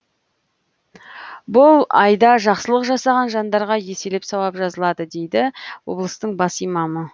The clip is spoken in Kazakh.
бұл айда жақсылық жасаған жандарға еселеп сауап жазылады дейді облыстың бас имамы